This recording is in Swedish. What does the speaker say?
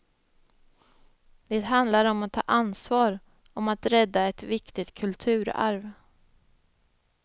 Det handlar om att ta ansvar, om att rädda ett viktigt kulturarv.